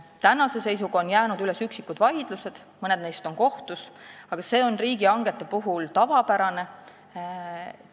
Tänase seisuga on üles jäänud üksikud vaidlused, mõned neist on kohtus, aga see on riigihangete puhul tavapärane.